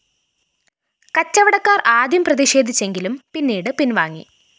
കച്ചവടക്കാര്‍ ആദ്യം പ്രതിഷേധിച്ചെങ്കിലും പിന്നീട് പിന്‍വാങ്ങി